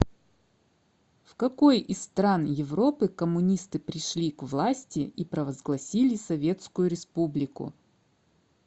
в какой из стран европы коммунисты пришли к власти и провозгласили советскую республику